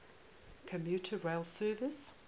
commuter rail service